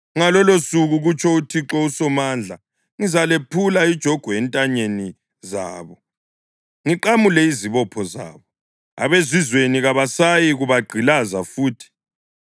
Ngalolosuku,’ kutsho uThixo uSomandla, ‘ngizalephula ijogwe entanyeni zabo ngiqamule lezibopho zabo; abezizweni kabasayikubagqilaza futhi.